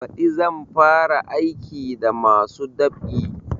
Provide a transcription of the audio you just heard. Baɗi zan fara aiki da masu dab'i